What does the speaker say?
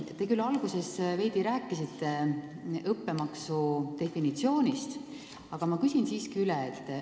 Te küll alguses veidi rääkisite õppemaksu definitsioonist, aga ma küsin siiski üle.